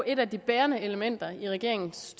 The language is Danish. et af de bærende elementer i regeringens